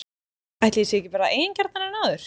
Ætli ég sé ekki bara eigingjarnari en áður?!